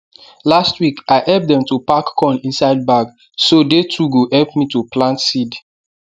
last week i help them to pack corn inside bag so they too go help me to plant seed